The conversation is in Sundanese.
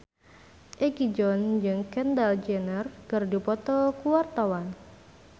Egi John jeung Kendall Jenner keur dipoto ku wartawan